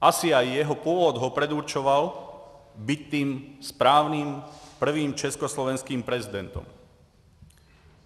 Asi i jeho původ ho předurčoval být tím správným prvním československým prezidentem.